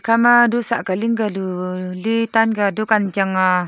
hakhama du saka ling ka lu letanga dukan chang ahh.